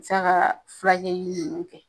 A bi sa ka fulakɛli nunnu kɛ